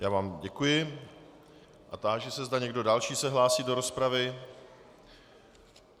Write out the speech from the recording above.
Já vám děkuji a táži se, zda někdo další se hlásí do rozpravy.